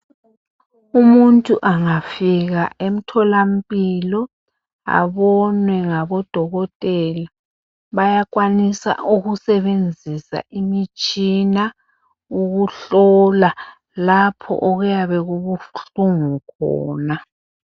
Umuntu angafika emtholampilo abonwe ngabodokotela bayakwanisa ukusebenzisa umitshina ukuhlola lapho okuyabe kubuhlungu khona.